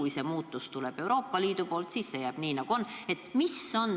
Või kui muutus tuleb Euroopa Liidu poolt, siis kas kõik jääb nii, nagu on?